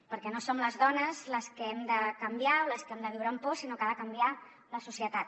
perquè no som les dones les que hem de canviar o les que hem de viure amb por sinó que ha de canviar la societat